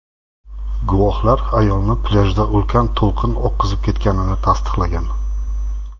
Guvohlar ayolni plyajda ulkan to‘lqin oqizib ketganini tasdiqlagan.